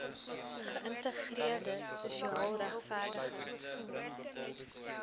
geïntegreerde sosiaal regverdige